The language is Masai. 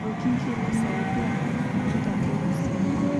Orkingi le Saudia ,eparanita Urusi.